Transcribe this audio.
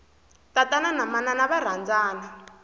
tatana na manana va rhandzana